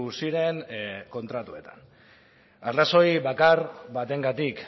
ziren kontratuetan arrazoi bakar batengatik